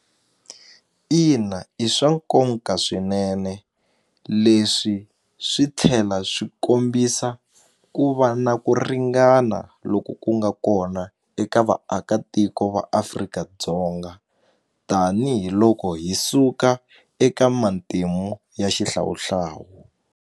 Ina i swa nkonka swinene leswi swi tlhela swi kombisa ku va na ku ringana loko ku nga kona eka vaakatiko va Afrika-Dzonga tanihiloko hi suka eka matimu ya xihlawuhlawu.